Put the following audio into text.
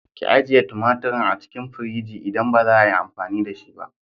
Ki ajiye tumaturin a cikin firigi idan baza 'a yi amfani da shi ba.